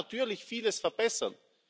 Man kann natürlich vieles verbessern.